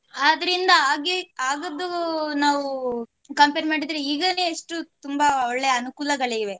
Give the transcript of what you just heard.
ಆದ್ರಿಂದ ಆಗೇ~ ಆಗದ್ದು ನಾವು compare ಮಾಡಿದ್ರೆ ಈಗನೆ ಎಷ್ಟು ತುಂಬ ಒಳ್ಳೆ ಅನುಕೂಲಗಳಿವೆ.